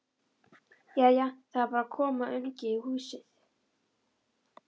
Jæja. það er bara að koma ungi í húsið!